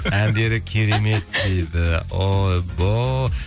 әндері керемет дейді